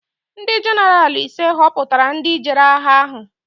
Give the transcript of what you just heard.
Ndị jenaraal ise họputara ndị jere agha ahụ.